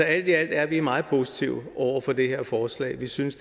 alt i alt er vi meget positive over for det her forslag vi synes